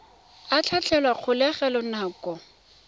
a tlhatlhelwa kwa kgolegelong nako